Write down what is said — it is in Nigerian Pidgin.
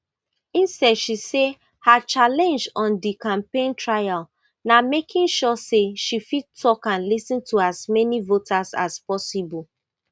instead she say her challenge on di campaign trail na making sure say she fit talk and lis ten to as many voters as possible